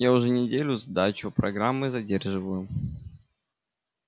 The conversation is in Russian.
я уже на неделю сдачу программы задерживаю